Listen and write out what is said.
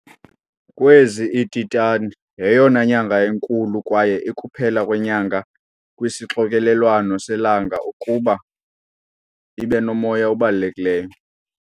Kwezi, i-Titan yeyona nyanga inkulu kwaye ikuphela kwenyanga kwisixokelelwano selanga ukuba ibe nomoya obalulekileyo.